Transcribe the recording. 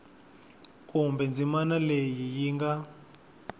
kumbe ndzimana leyi yi nga